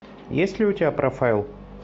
есть ли у тебя профайл